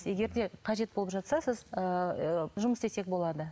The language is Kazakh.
егер де қажет болып жатса сіз ыыы жұмыс істесек болады